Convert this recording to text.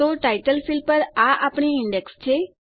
તો title field પર આ આપણી ઈન્ડેક્સ છે